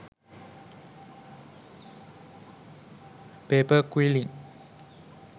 pepar quilling